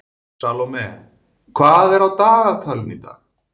Salome, hvað er á dagatalinu í dag?